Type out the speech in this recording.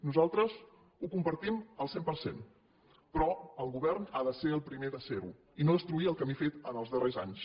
nosaltres ho compartim al cent per cent però el govern ha de ser el primer de ser ho i no destruir el camí fet els darrers anys